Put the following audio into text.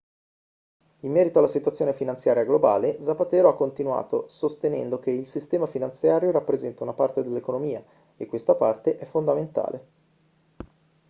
in merito alla situazione finanziaria globale zapatero ha continuato sostenendo che il sistema finanziario rappresenta una parte dell'economia e questa parte è fondamentale